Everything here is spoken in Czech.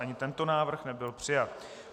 Ani tento návrh nebyl přijat.